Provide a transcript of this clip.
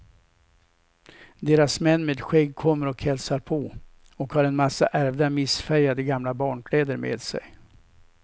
Deras män med skägg kommer och hälsar på, och har en massa ärvda missfärgade gamla barnkläder med sig.